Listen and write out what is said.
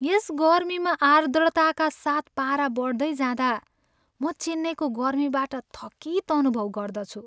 यस गर्मीमा आर्द्रताका साथ पारा बढ्दै जाँदा म चेन्नईको गर्मीबाट थकित अनुभव गर्दछु।